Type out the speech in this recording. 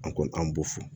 An ko an b'u fo